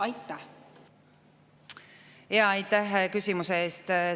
Aitäh küsimuse eest!